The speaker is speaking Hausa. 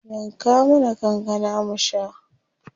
Yanka mana kankana mu sha.